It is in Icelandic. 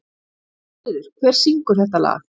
Ketilríður, hver syngur þetta lag?